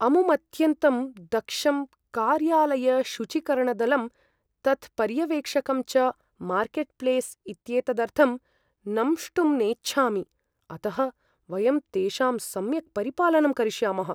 अमुमत्यन्तं दक्षं कार्यालयशुचीकरणदलं तत्पर्यवेक्षकं च मार्केट् प्लेस् इत्येतदर्थं नंष्टुं नेच्छामि। अतः वयं तेषां सम्यक् परिपालनं करिष्यामः।